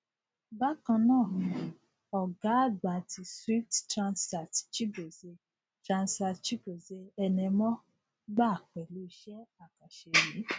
bákan náà ọgá àgbà ti swift tranzact chigozie tranzact chigozie enemoh gbà pẹlú iṣẹ àkànṣe yìí